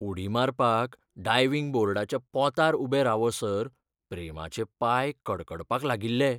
उडी मारपाक डायविंग बोर्डाच्या पोंतार उबें रावसर प्रेमाचे पांय कडकडपाक लागिल्ले.